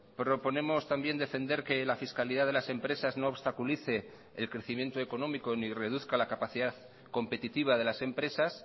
proponemos también defender que la fiscalidad de las empresas no obstaculice el crecimiento económico ni reduzca la capacidad competitiva de las empresas